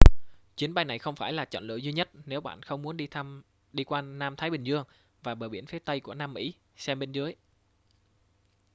chuyến bay này không phải là chọn lựa duy nhất nếu bạn không muốn đi qua nam thái bình dương và bờ biển phía tây của nam mỹ. xem bên dưới